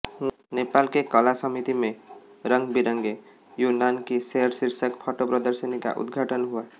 नेपाल के कला समिति में रंगबिरंगे युन्नान की सैर शीर्षक फोटो प्रदर्शनी का उद्घाटन हुआ